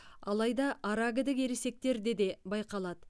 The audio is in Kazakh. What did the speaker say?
алайда аракідік ересектерде де байқалады